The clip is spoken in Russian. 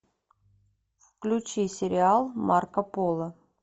включи сериал марко поло